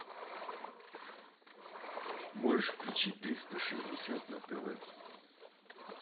можешь включить триста шестьдесят на тв